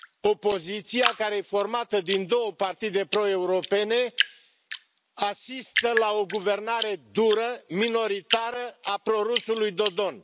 Opoziția care este formată din două partide pro europene asistă la o guvernare dură, minoritară a pro rusului Dodon.